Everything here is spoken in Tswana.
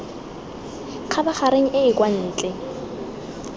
khabareng e e kwa ntle